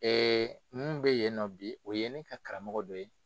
Ɛɛ mun be yen nɔ bi, o ye ne ka karamɔgɔ dɔ ye